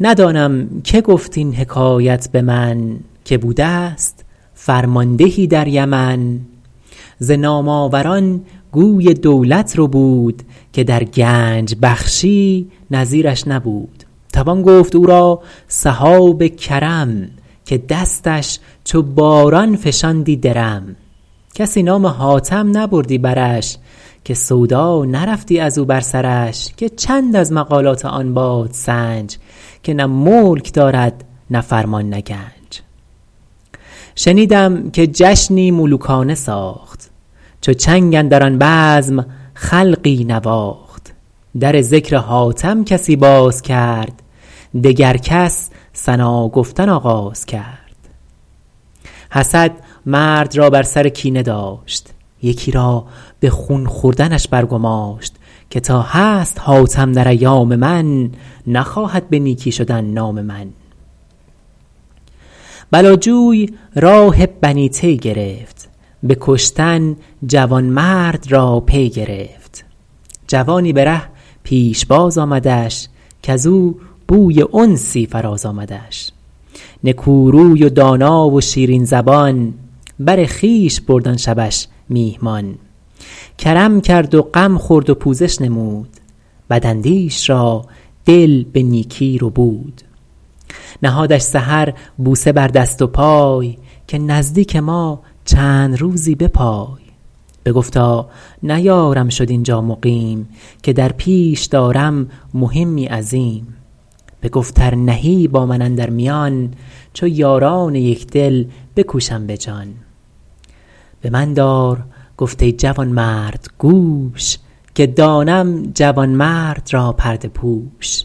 ندانم که گفت این حکایت به من که بوده ست فرماندهی در یمن ز نام آور ان گوی دولت ربود که در گنج بخشی نظیر ش نبود توان گفت او را سحاب کرم که دستش چو باران فشاندی درم کسی نام حاتم نبردی برش که سودا نرفتی از او بر سرش که چند از مقالات آن بادسنج که نه ملک دارد نه فرمان نه گنج شنیدم که جشنی ملوکانه ساخت چو چنگ اندر آن بزم خلقی نواخت در ذکر حاتم کسی باز کرد دگر کس ثنا گفتن آغاز کرد حسد مرد را بر سر کینه داشت یکی را به خون خوردنش بر گماشت که تا هست حاتم در ایام من نخواهد به نیکی شدن نام من بلا جوی راه بنی طی گرفت به کشتن جوانمرد را پی گرفت جوانی به ره پیشباز آمدش کز او بوی انسی فراز آمدش نکو روی و دانا و شیرین زبان بر خویش برد آن شبش میهمان کرم کرد و غم خورد و پوزش نمود بد اندیش را دل به نیکی ربود نهادش سحر بوسه بر دست و پای که نزدیک ما چند روزی بپای بگفتا نیارم شد اینجا مقیم که در پیش دارم مهمی عظیم بگفت ار نهی با من اندر میان چو یاران یکدل بکوشم به جان به من دار گفت ای جوانمرد گوش که دانم جوانمرد را پرده پوش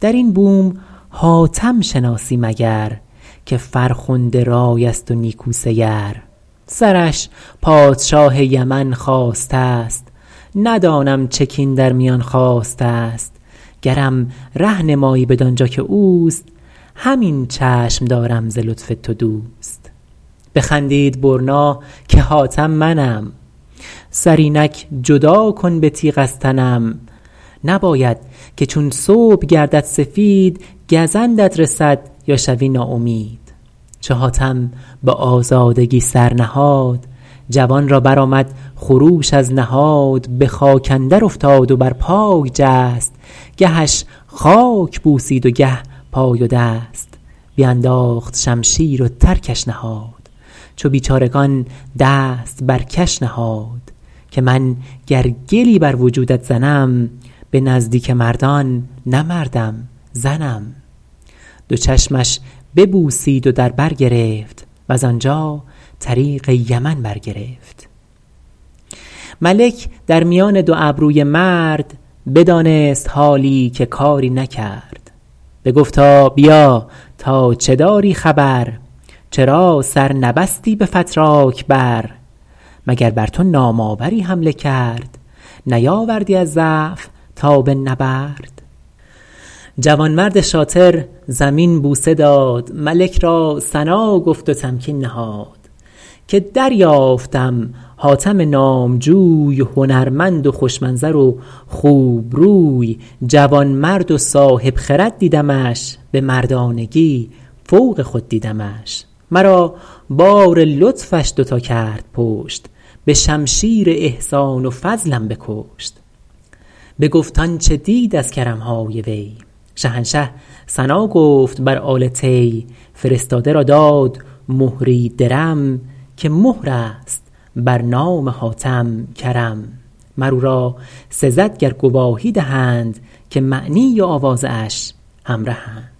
در این بوم حاتم شناسی مگر که فرخنده رای است و نیکو سیر سرش پادشاه یمن خواسته ست ندانم چه کین در میان خاسته ست گرم ره نمایی بدان جا که اوست همین چشم دارم ز لطف تو دوست بخندید برنا که حاتم منم سر اینک جدا کن به تیغ از تنم نباید که چون صبح گردد سفید گزندت رسد یا شوی ناامید چو حاتم به آزادگی سر نهاد جوان را برآمد خروش از نهاد به خاک اندر افتاد و بر پای جست گهش خاک بوسید و گه پای و دست بینداخت شمشیر و ترکش نهاد چو بیچارگان دست بر کش نهاد که من گر گلی بر وجودت زنم به نزدیک مردان نه مردم زنم دو چشمش ببوسید و در بر گرفت وز آنجا طریق یمن بر گرفت ملک در میان دو ابروی مرد بدانست حالی که کاری نکرد بگفتا بیا تا چه داری خبر چرا سر نبستی به فتراک بر مگر بر تو نام آوری حمله کرد نیاوردی از ضعف تاب نبرد جوانمرد شاطر زمین بوسه داد ملک را ثنا گفت و تمکین نهاد که دریافتم حاتم نامجوی هنرمند و خوش منظر و خوبروی جوانمرد و صاحب خرد دیدمش به مردانگی فوق خود دیدمش مرا بار لطفش دو تا کرد پشت به شمشیر احسان و فضلم بکشت بگفت آنچه دید از کرم های وی شهنشه ثنا گفت بر آل طی فرستاده را داد مهری درم که مهر است بر نام حاتم کرم مر او را سزد گر گواهی دهند که معنی و آوازه اش همرهند